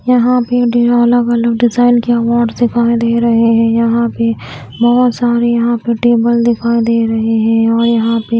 यहां भी दो अलग-अलग डिजाइन की अवार्ड दिखाई दे रहे हैं यहां पे बहोत सारे यहां पे टेबल दिखाई दे रहे हैं और यहां पे --